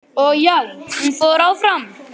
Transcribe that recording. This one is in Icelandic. Og já, hún fór áfram!!